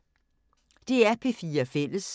DR P4 Fælles